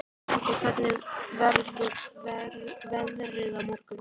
Nadia, hvernig verður veðrið á morgun?